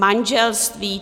Manželství?